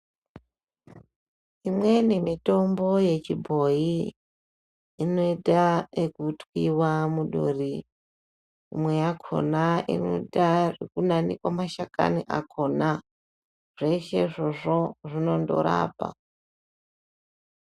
Imweni mitombo yechibhoyi inoita ekutwiwa muduri imwe yakona inoita zvekunanikwa mashakani akona. Zveshe izvozvo zvinondorapa.